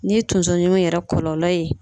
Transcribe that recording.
N'i ye tonsoɲimi yɛrɛ kɔlɔlɔ ye